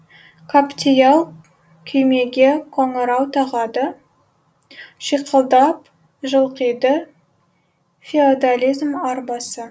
каптиал күймеге қоңырау тағады шиқылдап жылқиды феодализм арбасы